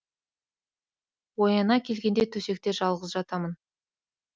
ояна келгенде төсекте жалғыз жатамын